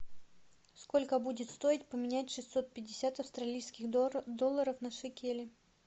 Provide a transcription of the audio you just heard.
сколько будет стоить поменять шестьсот пятьдесят австралийских долларов на шекели